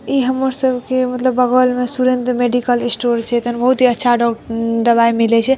इ हमर सबके मतलब बगल में सुरेंद्र मेडिकल स्टोर छै एता ने बहुत ही अच्छा डॉ दवाए मिले छै।